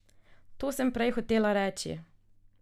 To sem prej hotela reči.